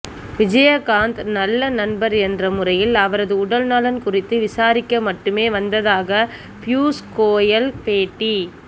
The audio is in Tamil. விஜயகாந்த் நல்ல நண்பர் என்ற முறையில் அவரது உடல் நலன் குறித்து விசாரிக்க மட்டுமே வந்ததாக ப்யூஷ் கோயல் பேட்டி